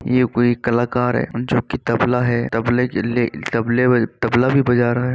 ये कोई कलाकार है जो की तबला है तबले की ले तबले बज तबला भी बजा रहा है।